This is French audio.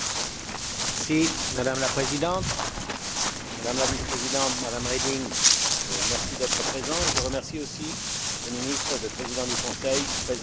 Madame la Présidente, Madame la Vice présidente, Madame Reding, merci d'être présentes et je remercie aussi le ministre, le Président du Conseil, présent à cette séance.